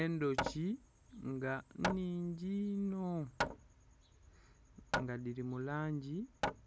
endhoki nga nhingi ino, nga dhiri mu langi